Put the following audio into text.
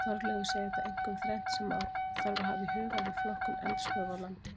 Þorleifur segir það einkum þrennt sem hafa þarf í huga við flokkun eldstöðva á landi.